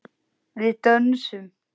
Við dönsum.